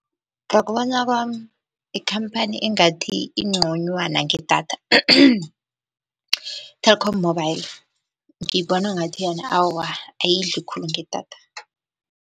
Ngokubona kwami ikhamphani engathi inconywana ngedatha , Telkom mobile ngiyibona ngathi yona awa ayidli khulu ngedatha.